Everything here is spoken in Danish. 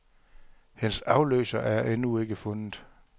Hendes afløser er endnu ikke fundet.